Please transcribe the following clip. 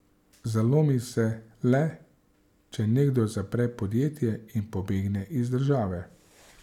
Zalomi se le, če nekdo zapre podjetje in pobegne iz države.